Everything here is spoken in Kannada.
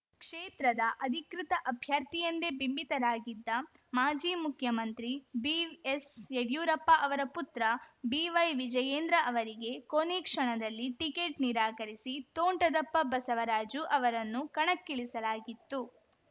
ಕ್ಷೇತ್ರದ ಅಧಿಕೃತ ಅಭ್ಯರ್ಥಿಯೆಂದೇ ಬಿಂಬಿತರಾಗಿದ್ದ ಮಾಜಿ ಮುಖ್ಯಮಂತ್ರಿ ಬಿಎಸ್‌ಯಡಿಯೂರಪ್ಪ ಅವರ ಪುತ್ರ ಬಿವೈವಿಜಯೇಂದ್ರ ಅವರಿಗೆ ಕೊನೇ ಕ್ಷಣದಲ್ಲಿ ಟಿಕೆಟ್‌ ನಿರಾಕರಿಸಿ ತೋಂಟದಪ್ಪ ಬಸವರಾಜು ಅವರನ್ನು ಕಣಕ್ಕಿಳಿಸಲಾಗಿತ್ತು